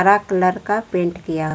रा कलर का पेंट किया--